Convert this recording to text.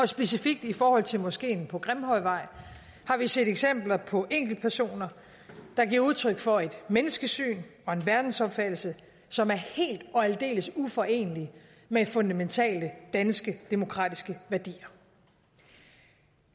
specifikt i forhold til moskeen på grimhøjvej har vi set eksempler på enkeltpersoner der giver udtryk for et menneskesyn og en verdensopfattelse som er helt og aldeles uforenelig med fundamentale danske demokratiske værdier